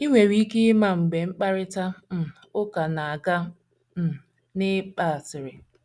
I nwere ike ịma mgbe mkparịta um ụka na - aga um n’ịgba asịrị.